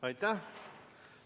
Aitäh!